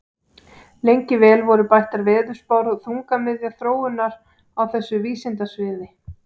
Lengi vel voru bættar veðurspár þungamiðja þróunar á þessu vísindasviði.